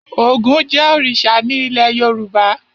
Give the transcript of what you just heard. Ògún jẹ́ òrìṣà ní ilé Yorùbá.